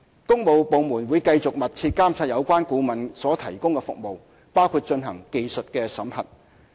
工務部門會繼續密切監察有關顧問所提供的服務，包括進行技術審核。